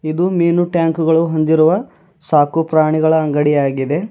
ಇದು ಮೀನು ಟ್ಯಾಂಕುಗಳು ಹೊಂದಿರುವ ಸಾಕು ಪ್ರಾಣಿಗಳ ಅಂಗಡಿಯಾಗಿದೆ.